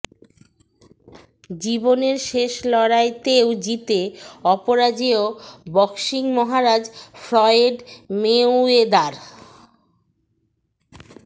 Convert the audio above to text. জীবনের শেষ লড়াইতেও জিতে অপরাজেয় বক্সিং মহারাজ ফ্লয়েড মেওয়েদার